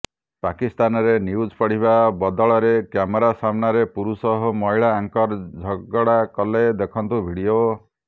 ପାକିସ୍ତାନରେ ନ୍ୟୁଜ୍ ପଢ଼ିବା ବଦଳରେ କ୍ୟାମେରା ସାମ୍ନାରେ ପୁରୁଷ ଓ ମହିଳା ଆଙ୍କର ଝଗଡ଼ା କଲେ ଦେଖନ୍ତୁ ଭିଡ଼ିଓ